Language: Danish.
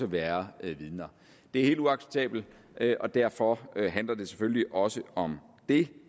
være vidner det er helt uacceptabelt og derfor handler det selvfølgelig også om det